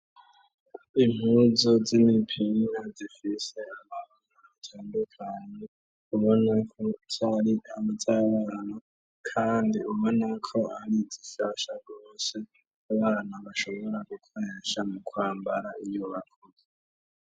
Impuzu y'imipira ntagifise amana itandukani ubona ko cyari abajabarano kandi ubona ko ari zishasha gose ubana bashobora gukohesha mu kwambara iyubaku.